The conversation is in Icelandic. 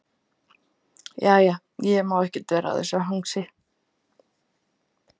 Jæja, ég má ekkert vera að þessu hangsi.